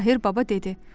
Mahir Baba dedi: